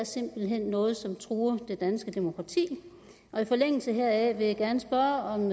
noget som truer det danske demokrati i forlængelse heraf vil jeg gerne spørge om